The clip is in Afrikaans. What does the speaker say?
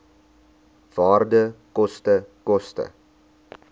waarde koste koste